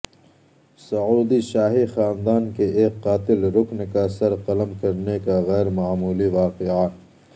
سعودی شاہی خاندان کے ایک قاتل رکن کا سر قلم کرنے کا غیر معمولی واقعہ